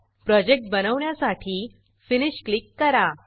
project बनवण्यासाठी finish click करा